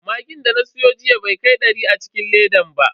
Magin da na siyo jiya bai kai dari a cikin ledan ba.